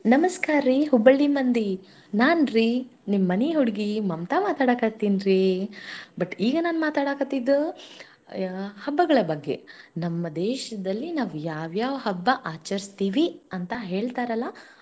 ನಮಸ್ಕಾರ್ರೀ Hubballi ಮಂದಿ, ನಾನ್ರಿ ನಿಮ್ಮನಿ ಹುಡುಗಿ ಮಮತಾ ಮಾಡಕತ್ತೀನರಿ but ಇಗಾ ನಾನ ಮಾತಾಡಾಕತ್ತಿದ್ದ ಹಬ್ಬಗಳ ಬಗ್ಗೆನಮ್ಮ ದೇಶದಲ್ಲಿ ನಾವ ಯಾವ್ಯಾವ ಹಬ್ಬ ಆಚರಿಸುತ್ತೇವಿ ಅಂತ ಹೇಳ್ತಾರಲ್ಲ.